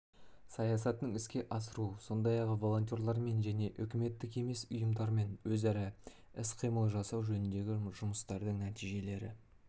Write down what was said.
саясатын іске асыру сондай-ақ волонтерлермен және үкіметтік емес ұйымдармен өзара іс-қимыл жасау жөніндегі жұмыстардың нәтижелері